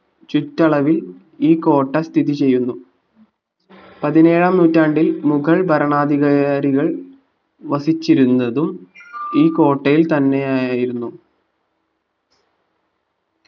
ചുറ്റളവിൽ ഈ കോട്ട സ്ഥിതി ചെയ്യുന്നു പതിനേഴാം നൂറ്റാണ്ടിൽ മുഗൾ ഭരണാധികാരികൾ വസിച്ചിരുന്നതും ഈ കോട്ടയിൽ തന്നെയായിരുന്നു